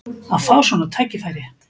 Að fá svona tækifæri!